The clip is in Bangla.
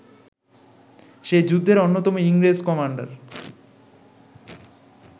সেই যুদ্ধের অন্যতম ইংরেজ কমান্ডার